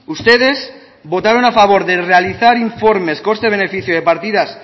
ustedes votaron a favor de realizar informes coste beneficio de partidas